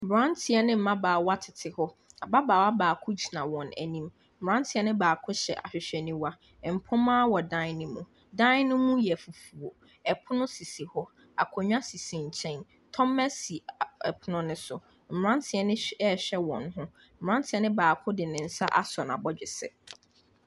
Mmeranteɛ ne mmabaawa tete hɔ. Ababaawa baako gyina wɔn anim. Mmeranteɛ no baako hyɛ ahwehwɛniwa. Mpoma wɔ dan no mu. Dan no mu yɛ fufuo. Pono sisi hɔ. Akonnwa sisi nkyɛn. Tɔmmɛ si pono no so. Mmeranteɛ no hw, rehwɛ wɔn ho. Mmeranteɛ no baako de ne nsa asɔ n'abɔdwesɛ.